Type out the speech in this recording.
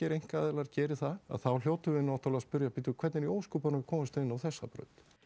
einkaaðilar geri það að þá hljótum við náttúrulega að spyrja nú hvernig í ósköpunum komumst við inn á þessa braut